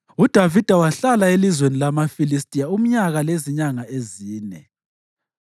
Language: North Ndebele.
UDavida wahlala elizweni lamaFilistiya umnyaka lezinyanga ezine.